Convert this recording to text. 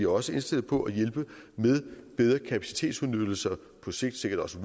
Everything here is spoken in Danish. også indstillet på at hjælpe med bedre kapacitetsudnyttelse og på sigt sikkert også